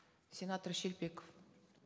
сенатор шелпеков